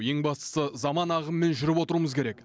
ең бастысы заман ағымымен жүріп отыруымыз керек